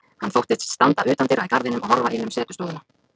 Hann þóttist standa utandyra í garðinum og horfa inn um setustofuna.